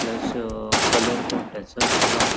plus a colour photos आसा व्हाय --